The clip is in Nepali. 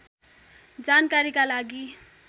जानकारीका लागि